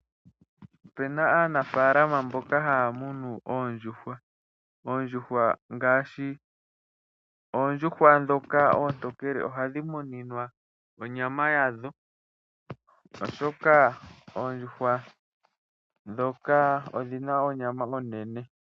Opu na aanafalama mboka haya munu oondjuhwa. Oondjuhwa ngaashi ndhoka oontokele, ohadhi muninwa onyama yadho, oshoka oondjuhwa ndhoka odhi na onyama onene.